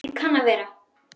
Það kann að vera